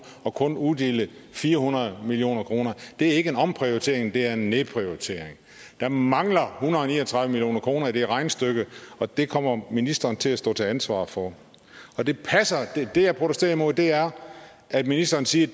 og kun uddele fire hundrede million kroner det er ikke en omprioritering det er en nedprioritering der mangler hundrede og ni og tredive million kroner i det regnestykke og det kommer ministeren til at stå til ansvar for det jeg protesterer imod er at ministeren siger